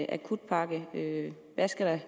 akutpakke skal